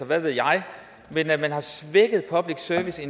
hvad ved jeg men at man har svækket public service